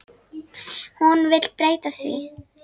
Hún vill breyta því.